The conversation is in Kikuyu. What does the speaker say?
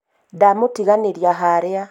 ndamũtiganĩria harĩa